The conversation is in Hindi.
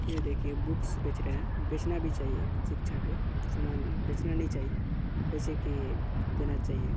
यह देखिये बूक्स बेच रहे हैं बेचना भी चाहिए शिक्षा के सामान बेचना नहीं चाहिए जैसे की देना चाहिए ।